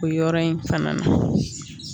O yɔrɔ in fana na